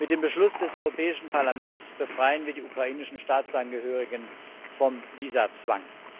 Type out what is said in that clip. Mit dem Beschluss des Europäischen Parlaments befreien wir die ukrainischen Staatsangehörigen vom Visazwang.